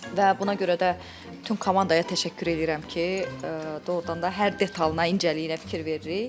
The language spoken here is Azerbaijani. Və buna görə də bütün komandaya təşəkkür edirəm ki, doğurdan da hər detalı incəliyinə fikir veririk.